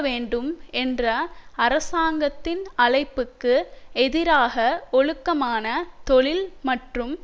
வேண்டும் என்ற அரசாங்கத்தின் அழைப்புக்கு எதிராக ஒழுக்கமான தொழில் மற்றும்